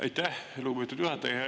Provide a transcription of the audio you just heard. Aitäh, lugupeetud juhataja!